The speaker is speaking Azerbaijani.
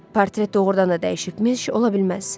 Portret doğrudan da dəyişibmiş, ola bilməz.